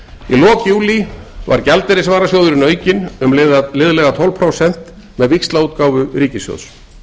í lok júlí var gjaldeyrisvarasjóðurinn aukinn um liðlega tólf prósent með víxlaútgáfu ríkissjóðs